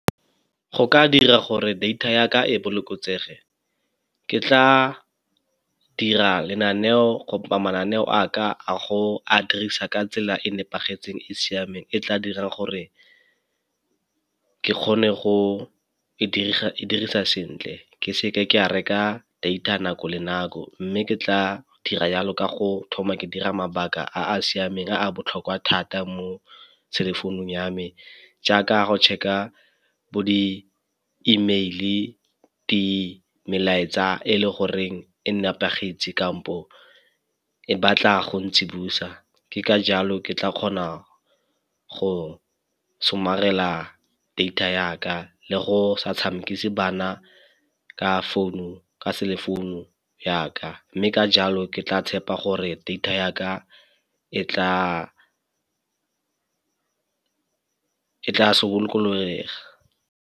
Go ka dira gore data ya ka e bolokesege, ke tla dira lenaneo mananeo a ka a go a dirisa ka tsela e nepagetseng e siameng e tla dirang gore ke kgone go dirisa sentle ke seke ka reka data nako le nako. Mme ke tla dira yalo ka go thoma ke dira mabaka a a siameng a botlhokwa thata mo cell-e phone-ung ya me jaaka go check-a bo di-e-mail-e, di melaetsa e le goreng e nepagetse kampo e batla go ntsibosa. Ka jalo ke tla kgona go somarela data ya ka le go sa tshamekise bana ka founu, ka cell-e founu ya ka mme ka jalo ke tla tshepa gore data ya ka e tla .